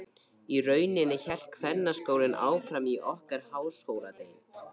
Í rauninni hélt kvennaskólinn áfram í okkar háskóladeild.